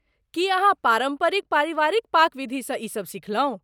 की अहाँ पारम्परिक पारिवारिक पाक विधिसँ ई सब सिखलहुँ?